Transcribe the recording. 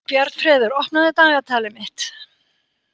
Bjarnfreður, opnaðu dagatalið mitt.